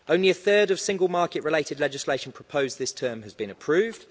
Only a third of Single Market related legislation proposed this term has been approved.